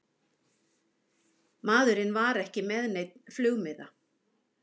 Maðurinn var ekki með neinn flugmiða